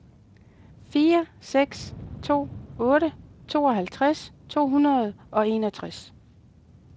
fire seks to otte tooghalvtreds to hundrede og enogtres